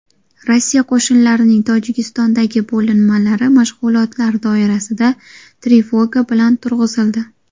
Rossiya qo‘shinlarining Tojikistondagi bo‘linmalari mashg‘ulotlar doirasida trevoga bilan turg‘izildi.